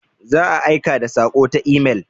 Za a aika da saƙo ta imel.